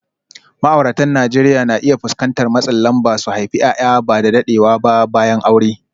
Ma’auratan Najeriya na iya fuskantar matsin lamba su haifi ’ya’ya ba da daɗewa ba bayan aure.